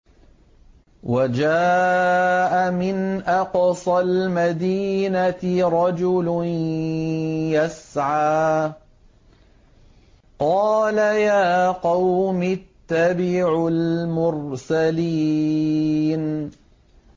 وَجَاءَ مِنْ أَقْصَى الْمَدِينَةِ رَجُلٌ يَسْعَىٰ قَالَ يَا قَوْمِ اتَّبِعُوا الْمُرْسَلِينَ